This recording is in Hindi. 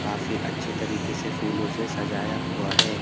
काफी अच्छे तरीके से फूलों से सजाया हुआ है।